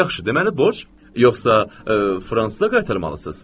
Yaxşı, deməli borc, yoxsa fransıza qaytarmalısınız?